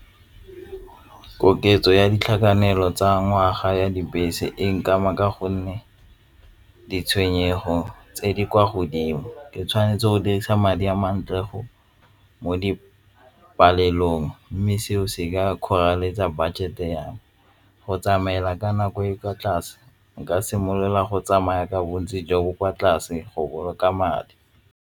Koketso ya ditlhakanelo tsa ngwaga ya dibese e nkama ka gonne ditshwenyego tse di kwa godimo, ke tshwanetse go dirisa madi a mantle mo dipalelong mme seo se ka kgoreletsa budget yang go tsamaela ka nako e e kwa tlase nka simolola go tsamaya ka bontsi jo bo kwa tlase go boloka madi.